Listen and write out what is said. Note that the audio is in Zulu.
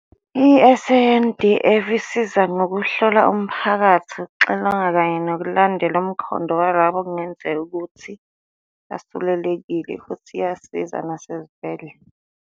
I-SANDF isiza ngokuhlola umphakathi, ukuxilonga kanye nokulandela umkhondo walabo okungenzeka ukuthi basulelekile, futhi iyasiza nasezibhedlela.